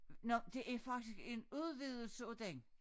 Nåh det er faktisk en udvidelse af den